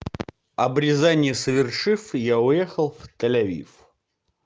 обрезание совершив я уехал в тель-авив